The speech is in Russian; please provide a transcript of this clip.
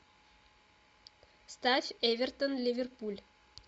ставь эвертон ливерпуль